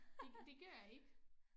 Det det gør jeg ikke